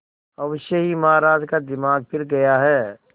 अवश्य ही महाराज का दिमाग फिर गया है